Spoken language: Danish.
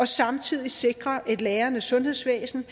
samtidig sikre et lærende sundhedsvæsen